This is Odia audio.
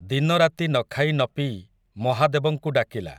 ଦିନରାତି ନ ଖାଇ ନ ପିଇ ମହାଦେବଙ୍କୁ ଡାକିଲା ।